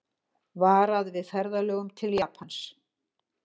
Varað við ferðalögum til Japans